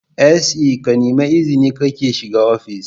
SE kanemi izini kake shiga ofishi